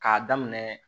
K'a daminɛ